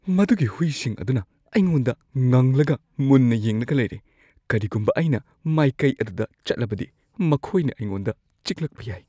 ꯃꯗꯨꯒꯤ ꯍꯨꯏꯁꯤꯡ ꯑꯗꯨꯅ ꯑꯩꯉꯣꯟꯗ ꯉꯪꯂꯒ ꯃꯨꯟꯅ ꯌꯦꯡꯂꯒ ꯂꯩꯔꯦ꯫ ꯀꯔꯤꯒꯨꯝꯕ ꯑꯩꯅ ꯃꯥꯏꯀꯩ ꯑꯗꯨꯗ ꯆꯠꯂꯕꯗꯤ ꯃꯈꯣꯏꯅ ꯑꯩꯉꯣꯟꯗ ꯆꯤꯛꯂꯛꯄ ꯌꯥꯏ꯫